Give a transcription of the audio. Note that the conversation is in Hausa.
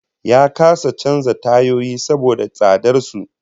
Ya kasa canza tayoyi saboda tsadar su